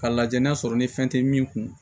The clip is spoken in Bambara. Ka lajɛ n'a sɔrɔ ni fɛn tɛ min kun